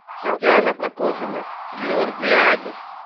татьяна прокофьевна георгиади